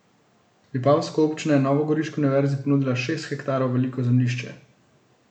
Vipavska občina je novogoriški univerzi ponudila šest hektarov veliko zemljišče.